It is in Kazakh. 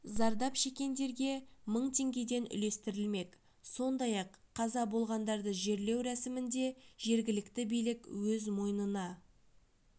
зардап шекендерге мың теңгеден үлестірілмек сондай-ақ қаза болғандарды жерлеу рәсімін де жергілікті билік өз мойнына